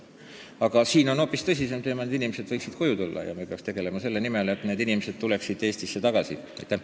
Aga hoopis tõsisem teema on see, et need inimesed võiksid koju tulla, ja me peaksime tegema kõik selle nimel, et need inimesed koju tagasi tuua ja nad ka tuleksid Eestisse tagasi.